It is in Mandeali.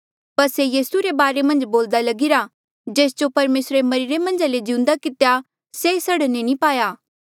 पर से यीसू रे बारे मन्झ बोल्दा लगिरा था जेस जो परमेसरे मरिरे मन्झा ले जिउंदा कितेया से सड़ने नी पाया